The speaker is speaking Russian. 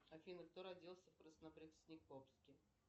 афина кто родился в краснопреснекопске